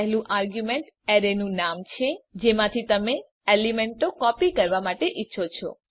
પહેલુ આર્ગ્યુંમેંટ એરેનું નામ છે જેમાંથી તમે એલીમેન્તો કોપી કરવા માટે ઈચ્છો છો